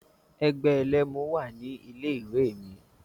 Ẹgbẹ́ ẹlẹ́mu wà ní ilé ìwé mi.